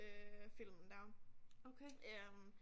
Øh filmen der øh